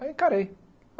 Aí encarei.